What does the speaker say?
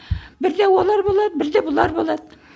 бірде олар болады бірде бұлар болады